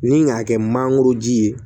Ni k'a kɛ mangoro ji ye